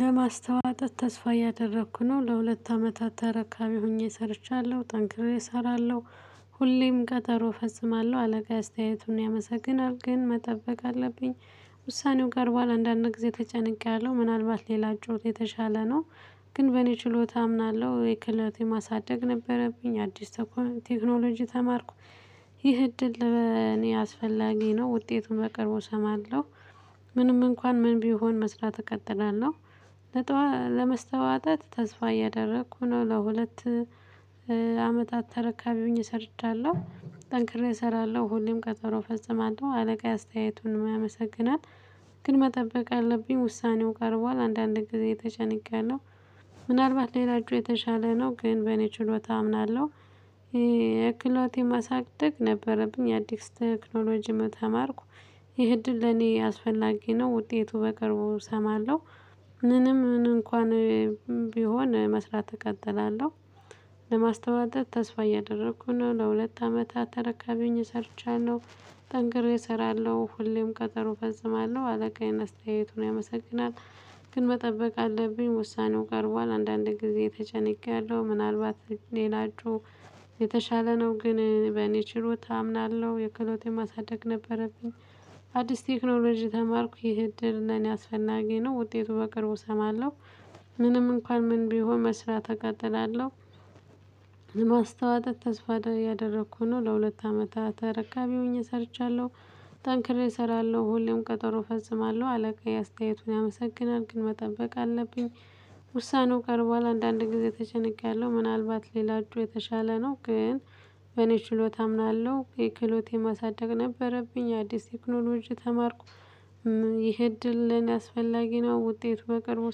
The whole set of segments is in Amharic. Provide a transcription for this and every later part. ለማስተዋጠት ተስፋ እያደረኩ ነው ለሁለት አመታት ተረካቢ ሆኜ ሰርቻለሁ ጠንክሬ እሰራለሁ ሁሌም ቀጠሮ እፈጽማለሁ አለቃ አስተያየቱን ያመሰግናል ግን መጠበቅ አለብኝ። ውሳኔው ቀርቧል አንዳንድ ጊዜ ተጨንቄያለሁ ምናልባት ሌላ ጩኸት የተሻለ ነው። ግን በእኔ ችሎታ አምናለሁ የክለቴ ማሳደግ ነበረብኝ አዲስ ተኩኖ ቴክኖሎጂ ተማርኩ። ይህ እድል ለእኔ አስፈላጊ ነው ውጤቱን በቅርቡ እሰማለሁ። ምንም እንኳን ምን ቢሆን መስራት እቀጥላለሁ። ለመስተዋተት ተስፋ እያደረኩ ነው ለሁለት አመታት ተረካቢ ሆኜ ሰርቻለሁ። ጠንክሬ እሰራለሁ ሁሌም ቀጠሮ ፈጽማለሁ አለቃዬ አስተያየቱን ያመሰግናል። ግን መጠበቅ አለብኝ ውሳኔው ቀርቧል አንዳንድ ጊዜ ተጨንቄያለው። ምናልባት ሌላ እጩ የተሻለ ነው ግን በእኔ ችሎታ አምናለሁ። የክሎቴ ማሳደግ ነበረብኝ የአዲስ ቴክኖሎጂም ተማርኩ። ይሄ እድል ለኔ አስፈላጊ ነው ውጤቱ በቅርቡ እሰማለሁ። ምንም ምን እንኳን ቢሆን መስራት እቀጥላለሁ። ለማስተዋጠት ተስፋ እያደረኩ ነው ለሁለት አመታት ተረካቢ ሆኜ ሰርቻለሁ። ጠንክሬ እሰራለሁ ሁሌም ቀጠሮ እፈጽማለሁ አለቃዬን አስተያየቱን ያመሰግናል። ግን መጠበቅ አለብኝ ውሳኔው ቀርቧል አንዳንድ ጊዜ ተጨንቄያለሁ ምናልባት ሌላችሁ የተሻለ ነው ግን በእኔ ችሎታ አምናለሁ የክሎቴ የማሳደግ ነበረብኝ። አዲስ ቴክኖሎጂ ተማርኩ ይሄ እድል ለኔ አስፈናጊ ነው ውጤቱ በቅርቡ እሰማለሁ። ምንም እንኳን ምን ቢሆን መስራት እቀጥላለሁ። ማስተዋጠት ተስፋ ያደረኩ ነው ለሁለት አመታት ተረካቢ ሆኜ ሰርቻለሁ። ጠንክሬ እሰራለሁ ሁሌም ቀጠሮ ፈጽማለሁ አለቃ የአስተያየቱን ያመሰግናል ግን መጠበቅ አለብኝ። ውሳኔው ቀርቧል አንዳንድ ጊዜ ተጨንቄያለሁ ምናልባት ሌላችሁ የተሻለ ነው ግን በኔ ችሎታ አምናለሁ የክህሎቴ ማሳደግ ነበረብኝ አዲስ ቴክኖሎጂ ተማርኩ። ይሄ እድል ለኔ አስፈላጊ ነው ውጤቱ በቅርቡ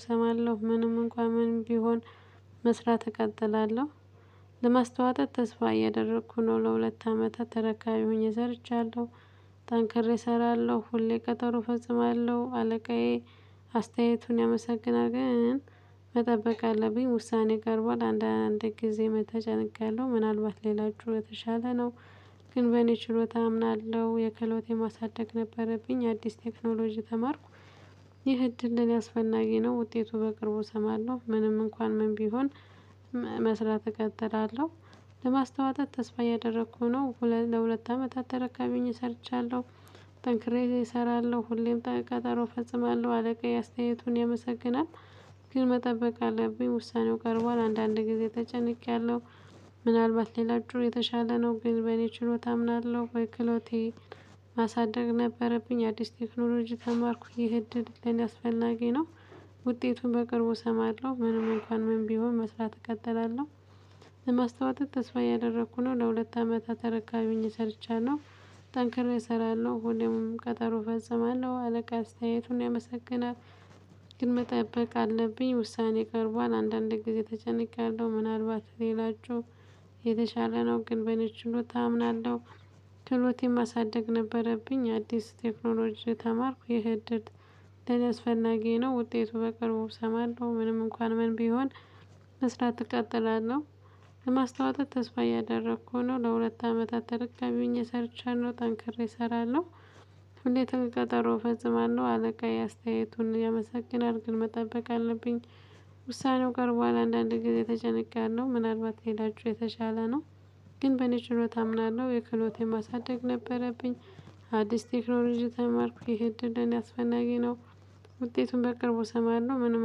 እሰማለሁ ምንም እንኳን ምንም ቢሆን መስራት እቀጥላለሁ። ለማስተዋጠት ተስፋ እየደረኩ ነው ለሁለት አመታት ተረካቢ ሆኜ ሰርቻለሁ። ጠንክሬ እሰራለሁ ሁሌ ቀጠሮ ፈጽማለሁ አለቃዬ አስተያየቱን ያመሰግናል ግን መጠበቅ አለብኝ ውሳኔ ቀርቧል አንዳንዴ ጊዜ ተጨንቄያለሁ ያለው ምናልባት ሌላችሁ የተሻለ ነው። ግን በእኔ ችሎታ አምናለሁ የክሌቴ የማሳደግ ነበረብኝ አዲስ ቴክኖሎጂ ተማርኩ። ይህ እድል ለኔ ያስፈናጊ ነው ውጤቱ በቅርቡ እሰማለሁ ምንም እንኳን ምን ቢሆን መስራት እቀጥላለሁ። ለማስተዋጠት ተስፋ ያደረኩ ነው ሁለት ለሁለት አመታት ተረካቢ ሆኜ ሰርቻለሁ። ጠንክሬ እሰራለሁ ሁሌም ተቀጠሮ እፈጽማለሁ አደጋ የአስተያየቱን ያመሰግናል። ግን መጠበቅ አለብኝ ውሳኔው ቀርቧል አንዳንድ ጊዜ ተጨንቄያለሁ። ምናልባት ሌላ እጩ የተሻለ ነው ግን በኔ ችሎታ እምናለሁ በክሎቴ ማሳደግ ነበረብኝ አዲስ ቴክኖሎጂ ተማርኩኝ እድል ለኔ አስፈላጊ ነው። ውጤቱን በቅርቡ እሰማለሁ ምንም እንኳን ምን ቢሆን መስራት እቀጥላለሁ። ለማስታወጠት ተስፋ እያደረኩ ነው ለሁለት አመት ተረካቢኝ ሰርቻለሁ። ጠንክሬ እሰራለሁ ሁሌም ቀጠሮ እፈጽማለሁ አለቃ አስተያየቱን ያመሰግናል። ግን መጠበቅ አለብኝ ውሳኔ ቀርቧል አንዳንድ ጊዜ ተጨንቄያለሁ ምናልባት ሌላችሁ የተሻለ ነው ግን በኔ ችሎታ አምናለሁ። ክሎቴን ማሳደግ ነበረብኝ አዲስ ቴክኖሎጂ ተማርኩ ይህ እድል ለኔ አስፈናጊ ነው ውጤቱ በቅርቡ እሰማለሁ ምንም እንኳን ምን ቢሆን መስራት እቃጥላለሁ። ለማስተዋጠት ተስፋ እያደረኩ ነው ለሁለት አመታት ተረካቢ ሆኜደ የሰርቻለሁ ጠንክሬ እሰራለሁ። ሁሌ ቀጠሮ እፈጽማለሁ አለቃዬ አስተያየቱን ያመሰግናል ግን መጠበቅ አለብኝ። ውሳኔው ቀርቧል አንዳንድ ጊዜ ተጨንቄያለሁ ምናልባት ሌላችሁ የተሻለ ነው። ግን በኔ ችሎታ አምናለሁ የክሎቴ ማሳደግ ነበረብኝ። አዲስ ቴክኖሎጂ ተማርኩ ይሄ እድል ለኔ አስፈናጊ ነው። ውጤቱን በቅርቡ እሰማለሁ ምንም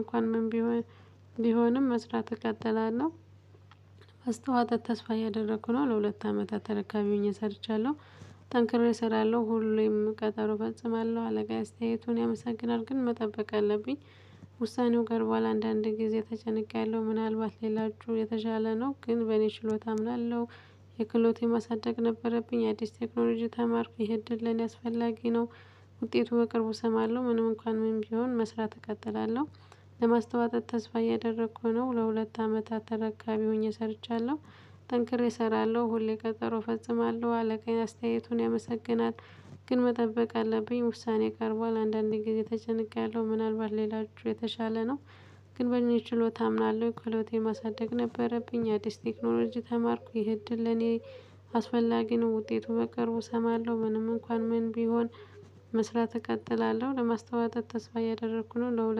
እንኳን ምን ቢሆን ቢሆንም መስራት እቀጥላለሁ። አስተዋጠት ተስፋ እያደረኩ ነው ለሁለት አመታት ተረካቢ ሆኜ ሰርቻለሁ። ጠንክሬ እሰራለሁ ሁሌም ቀጠሮ እፈጽማለሁ አለቃዬ አስተያየቱን ያመሰግናል ግን መጠበቅ አለብኝ። ውሳኔው ቀርቧል አንዳንድ ጊዜ ተጨነቅያለሁ ምናልባት ሌላችሁ የተሻለ ነው ግን በእኔ ችሎታ አምናለሁ። የክሎት የማሳደግ ነበረብኝ አዲስ ቴክኖሎጂ ተማርኩ ይሄ እድል ለኔ አስፈላጊ ነው። ውጤቱ በቅርቡ እሰማለሁ ምንም እንኳን ምንም ቢሆን መስራት እቀጥላለሁ። ለማስተዋጠት ተስፋ እያደረኩ ነው ለሁለት አመታት ተረካቢ ሆኜ ሰርቻለሁ። ጠንክሬ እሰራለሁ ሁሌ ቀጠሮ እፈጽማለሁ አለቃዬ አስተያየቱን ያመሰግናል። ግን መጠበቅ አለብኝ ውሳኔ ቀርቧል አንዳንዴ ጊዜ ተጨንቄያለሁ ምናልባት ሌላችሁ የተሻለ ነው። ግን በእኔ ችሎታ አምናለሁ የክሎት ማሳደግ ነበረብኝ አዲስ ቴክኖሎጂ ተማርኩ ይሄ እድል ለኔ አስፈላጊ ነው ውጤቱ በቅርቡ እሰማለሁ ምንም እንኳን ምን ቢሆን። መስራት እቀጥላለሁ ለማስተዋጠት ተስፋ እያደረኩ ነው ለሁለት